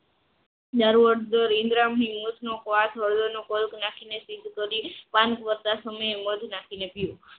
હળદર હળદર પીધકારી પણ સાંજ પડતા સમયે મધ નાખીને પીવું